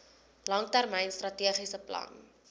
langtermyn strategiese plan